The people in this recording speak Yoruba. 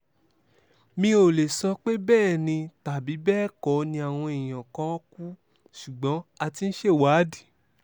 mi ò lè sọ pé bẹ́ẹ̀ ni tàbí bẹ́ẹ̀ kọ́ ni àwọn èèyàn kan kú ṣùgbọ́n a ti ń ṣèwádìí